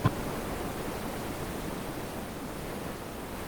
у тебя будет последняя часть лены катиной